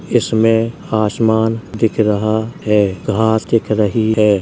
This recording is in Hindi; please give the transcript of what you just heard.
इसमें आसमान दिख रहा है घास दिख रही है।